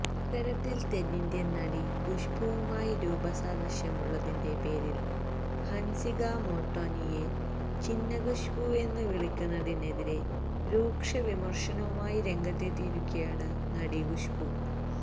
ഇത്തരത്തില് തെന്നിന്ത്യന് നടി ഖുശ്ബുവുമായി രൂപസാദൃശ്യമുള്ളതിന്റെ പേരില് ഹന്സിക മോട്ട്വാനിയെ ചിന്ന ഖുശ്ബുവെന്ന് വിളിക്കുന്നതിനെതിരെ രൂക്ഷവിമര്ശനവുമായി രംഗത്തെത്തിയിരിക്കുകയാണ് നടി ഖുശ്ബു